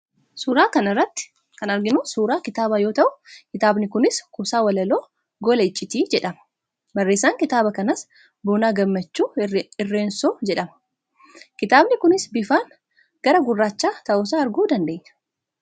Suuraa kana irratti kan arginu suuraa kitaabaa yoo ta'u, kitaabni kunis kuusaa walaloo 'Gola icciitii' jedhama. Barreessaan kitaaba kanaas Boonaa Gammachuu Irreensoo jedhama. Kitaabni kunis bifaan gara gurraachaa ta'uusaa arguu dandeenya.